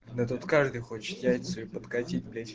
да тут каждый хочет яйца ей подкатить блять